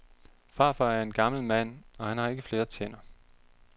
Farfar er en gammel mand, og han har ikke flere tænder.